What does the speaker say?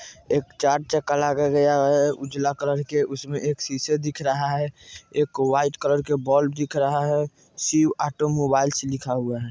एक चार्ट चक लगाया गया है उजला कलर के उसमें एक शीशे दिख रहा है एक वाइट कलर के बल्ब दिख रहा है शिव ऑटो मोबाइल्स लिखा हुआ है।